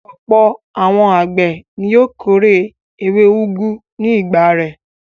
Ọ̀pọ̀ àwọn àgbẹ̀ ni yóò kórè ewé úgú ní ìgbà rẹ̀.